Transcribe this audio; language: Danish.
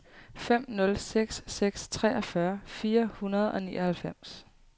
fem nul seks seks treogfyrre fire hundrede og nioghalvfems